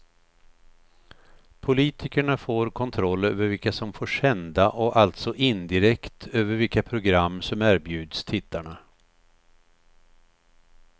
Politikerna får kontroll över vilka som får sända och alltså indirekt över vilka program som erbjuds tittarna.